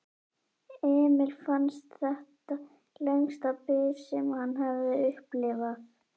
Emil fannst þetta lengsta bið sem hann hafði upplifað.